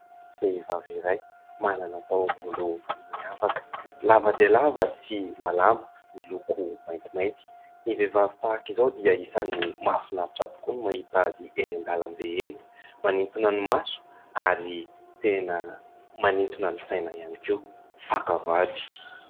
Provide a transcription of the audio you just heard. Vehivavy iray manana taovolo miavaka lava dia lava sy malama miloko maintimainty. Ny vehivavy tahaka izao dia isany mahafinaritra tokoa ny mahita azy eny an-dalambe eny, manintona ny maso ary tena manintona ny saina ihany koa, faka vady.